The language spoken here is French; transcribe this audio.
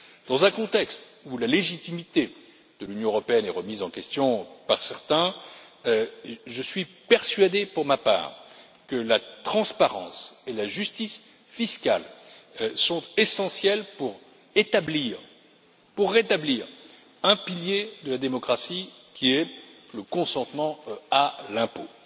Dans un contexte où la légitimité de l'Union européenne est remise en question par certains, je suis persuadé, pour ma part, que la transparence et la justice fiscale sont essentielles pour rétablir un pilier de la démocratie, qui est le consentement à l'impôt.